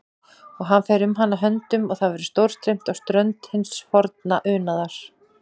Og hann fer um hana höndum og það verður stórstreymt á strönd hins horfna unaðar.